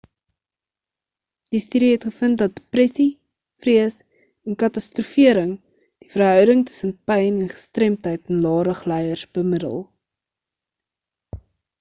die studie het gevind dat depressie vrees en katastrofering die verhouding tussen pyn en gestremdheid in lae-rug lyers bemiddel